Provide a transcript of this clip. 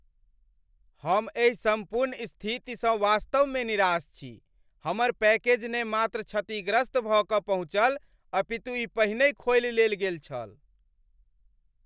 हम एहि सम्पूर्ण स्थितिसँ वास्तवमे निराश छी। हमर पैकेज ने मात्र क्षतिग्रस्त भऽ कऽ पहुँचल अपितु ई पहिनहि खोलि लेल गेल छल!